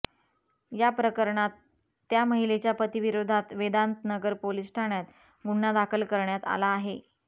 या प्रकरणात त्या महिलेच्या पतीविरोधात वेदांतनगर पोलिस ठाण्यात गुन्हा दाखल करण्यात आला आहे